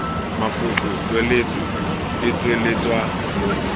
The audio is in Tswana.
mafoko tswaletswe e tsweletswa mo